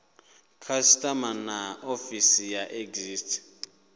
customs na ofisi ya excise